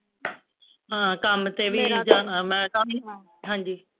ਹਾਂ ਕੰਮ ਤੇ ਵੀ ਜਾਣਾ ਮੈਂ ਕੰਮ ਹਾਂਜੀ